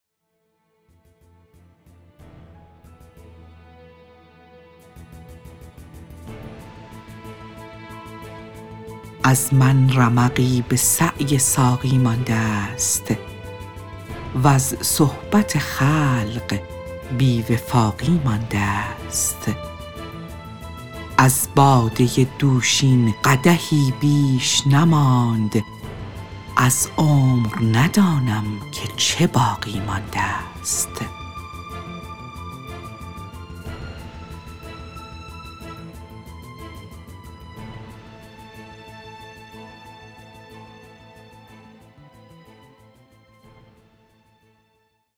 از من رمقی به سعی ساقی مانده است وز صحبت خلق بی وفاقی مانده است از باده دوشین قدحی بیش نماند از عمر ندانم که چه باقی مانده است